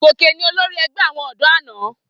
Gòkè ni olórí ẹgbẹ́ àwọn ọ̀dọ́ àná.